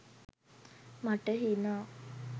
මට හිනා.